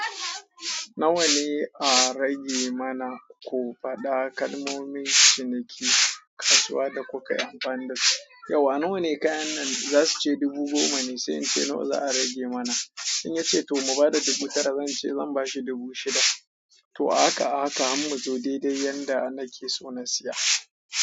Nawa ne a rage mana ko faɗa ƙalmomin ciniki, kasuwa da kuka yi amfani da su. Yauwa nawa ne kayan nan? Za su ce dubu goma ne, sai in ce nawa za a rage mana. In ya ce to mu ba da dubu tara, zan ce zan ba shi dubu shida. To a haka a haka hammu je, daidai yanda na ke so na siya.